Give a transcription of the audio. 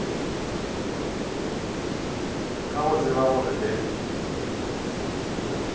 ka go tseba gore le